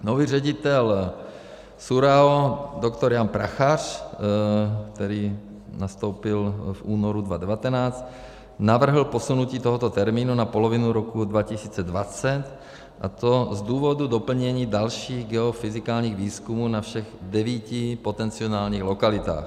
Nový ředitel SÚRAO doktor Jan Prachař, který nastoupil v únoru 2019, navrhl posunutí tohoto termínu na polovinu roku 2020, a to z důvodu doplnění dalších geofyzikálních výzkumů na všech devíti potenciálních lokalitách.